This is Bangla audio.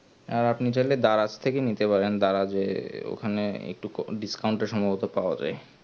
আর আপনি চাইলে দ্বারা থেকে নিতে পারেন দ্বারা যে ওখান একটুকু discount টা সম্ভবত পাওয়া যাই